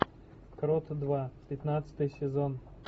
крот два пятнадцатый сезон